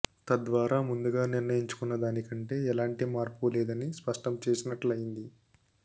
తద్వారా ముందుగా నిర్ణయించుకున్న దానికంటే ఎలాంటి మార్పు లేదని స్పష్టం చేసినట్లయింది